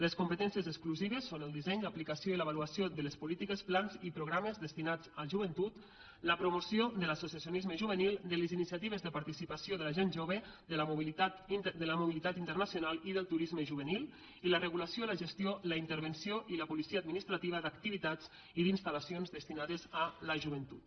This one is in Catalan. les competències exclusives són el disseny l’aplicació i l’avaluació de polítiques plans i programes destinats a joventut la promoció de l’associacionisme juvenil de les iniciatives de participació de la gent jove de la mobilitat internacional i del turisme juvenil i la regulació la gestió la intervenció i la policia administrativa d’activitats i d’instal·lacions destinades a la joventut